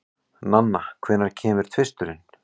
Nanna, hvenær kemur tvisturinn?